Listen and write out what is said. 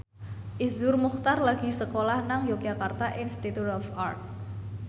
Iszur Muchtar lagi sekolah nang Yogyakarta Institute of Art